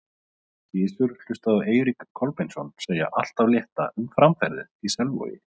Gizur hlustaði á Eirík Kolbeinsson segja allt af létta um framferðið í Selvogi.